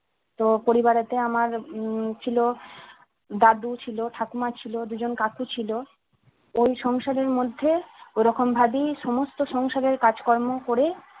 তো পরিবারের আমার উম ছিল দাদু ছিল ঠাকুমা ছিল দুজন কাকু ছিল ওই সংসারের মধ্যে ওরকমভাবেই সমস্ত সংসারের কাজকর্ম করে